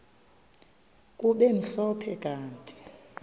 kube mhlophe kanti